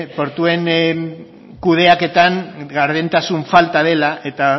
portuen kudeaketan gardentasun falta dela eta